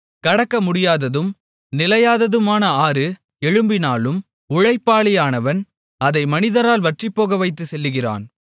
கடக்கமுடியாததும் நிலையாததுமான ஆறு எழும்பினாலும் உழைப்பாளியானவன் அதை மனிதரால் வற்றிப்போகவைத்துச் செல்லுகிறான்